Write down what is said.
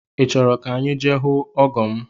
I chọrọ ka anyị je hụ ọgọ m?